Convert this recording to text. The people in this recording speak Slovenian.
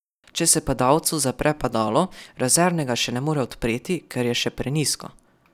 Če se padalcu zapre padalo, rezervnega še ne more odpreti, ker je še prenizko.